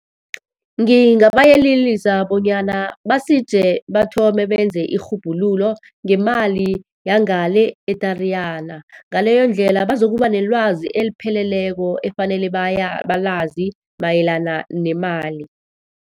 Ngingabayelelisa bonyana basije bathome benze irhubhululo ngemali yangale eTariyana. Ngaleyo ndlela bazokuba nelwazi elipheleleko efanele balazi mayelana nemali.